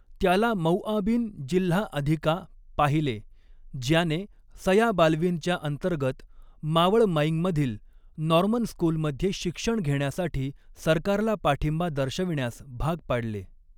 त्याला मौआबिन जिल्हा अधिका पाहिले ज्याने सया बाल्विनच्या अंतर्गत मावळमायिंगमधील नॉर्मन स्कूलमध्ये शिक्षण घेण्यासाठी सरकारला पाठिंबा दर्शविण्यास भाग पाडले.